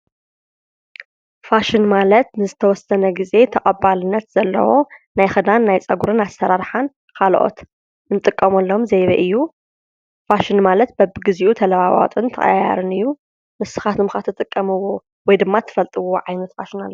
ፋሽን ማለት ንዝተወሰነ ግዜ ተቐባልነት ዘለዎ ናይ ክዳን፣ ናይ ፀጉሪ ኣሰራርሓን ካልኦት እንጥቀመሎም ዘይቤ እዩ፡፡ ፋሽን ማለት በቢግዚኡ ተለዋዋጥን ተቐያያርን እዩ፡፡ ንስኻትኩም ከ እትፈልጥዎ ወይ ድማ እትጥቀምዎ ዓይነት ፋሽን ኣሎዶ?